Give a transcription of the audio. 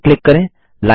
Lineपर click करें